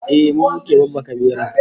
Ehh, mu muke babbaka beran